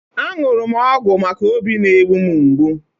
A ṅụrụ m ọgwụ maka óbí na-egbu m mgbu.